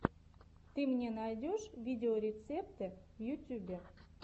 ты мне найдешь видеорецепты в ютюбе